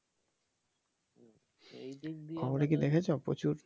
খবরে কি দেখেছো প্রচুর।